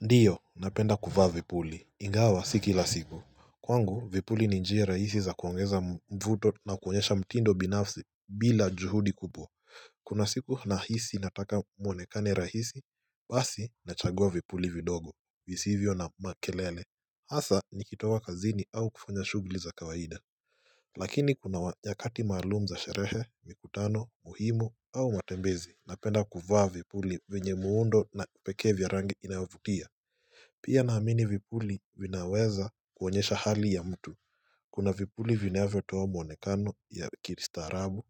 Ndio napenda kuvaa vipuli ingawa si kila siku kwangu vipuli ni njia rahisi za kuongeza mvuto na kuonyesha mtindo binafsi bila juhudi kupo kuna siku nahisi nataka mwonekane rahisi basi nachagua vipuli vidogo visivyo na makelele hasa nikitoa kazini au kufanya shughli za kawaida lakini kuna nyakati maalum za sherehe mikutano muhimu au matembezi napenda kuvaa vipuli venye muundo na peke vya rangi inavutia Pia naamini vipuli vinaweza kuonyesha hali ya mtu. Kuna vipuli vinavyo toa mwonekano ya kiristarabu,